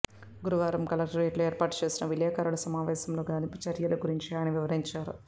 గురువారం కలెక్టరేట్లో ఏర్పాటు చేసిన విలేకరుల సమావేశంలో గాలింపు చర్యల గురించి ఆయన వివరించారు